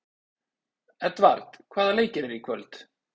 Edvard, hvaða leikir eru í kvöld?